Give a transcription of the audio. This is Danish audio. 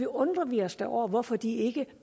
undrer vi os da over hvorfor de ikke